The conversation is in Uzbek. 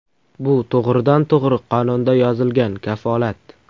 Bu to‘g‘ridan to‘g‘ri qonunda yozilgan kafolat.